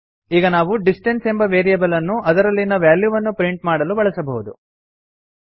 ಈಗ ನಾವು ಡಿಸ್ಟೆನ್ಸ್ ಎಂಬ ವೇರಿಯೇಬಲ್ ಅನ್ನು ಅದರಲ್ಲಿನ ವ್ಯಾಲ್ಯೂವನ್ನು ಪ್ರಿಂಟ್ ಮಾಡಲು ಬಳಸಬಹುದು